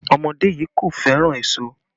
Ọmọdé yii kò fẹ́ràn èso